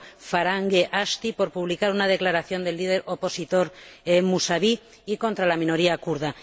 Farhang e Ashti por publicar una declaración del líder opositor Musavi y contra la minoría kurda.